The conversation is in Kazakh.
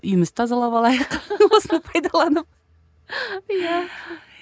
үйімізді тазалап алайық осыны пайдаланып иә